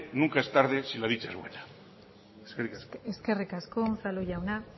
nunca es tarde si la dicha es buena eskerrik asko eskerrik asko unzalu jauna